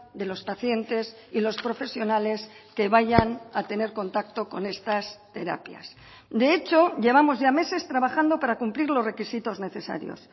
de los pacientes y los profesionales que vayan a tener contacto con estas terapias de hecho llevamos ya meses trabajando para cumplir los requisitos necesarios